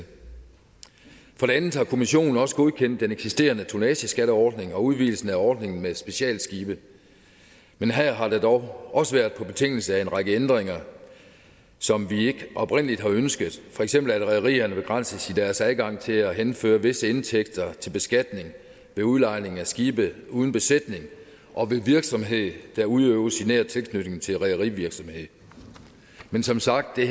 for det andet har kommissionen også godkendt den eksisterende tonnageskatteordning og udvidelse af ordningen med specialskibe men her har det dog også været på betingelse af en række ændringer som vi ikke oprindelig har ønsket for eksempel at rederierne begrænses i deres adgang til at henføre visse indtægter til beskatning ved udlejning af skibe uden besætning og ved virksomhed der udøves i nær tilknytning til rederivirksomhed men som sagt er